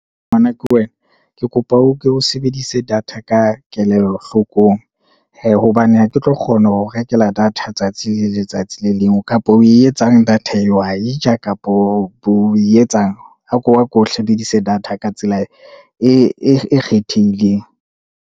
Ngwana ke wena, ke kopa o ko o sebedise data ka kelello hlokong, hee, hobane ha ke tlo kgona ho o rekela data tsatsi le letsatsi le leng, kapa o e etsang data eo, o a e ja kapa o e etsang, a ko o sebedise data ka tsela e kgethehileng.